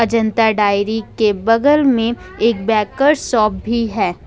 Ajanta dairy के बगल में एक बैकर शॉप भी है।